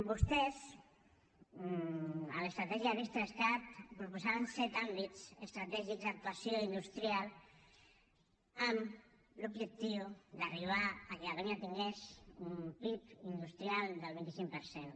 vostès a l’estratègia ris3cat proposaven set àmbits estratègics d’actuació industrial amb l’objectiu d’arribar que catalunya tingués un pib industrial del vint cinc per cent